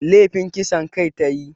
Lefin kisan kai ta yi